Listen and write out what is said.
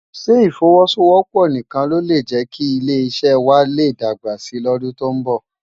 Sé ifòwòsówòpò nikán ló lé jēki ilé iṣè wâ lé dágbá si lòdún tó n bò?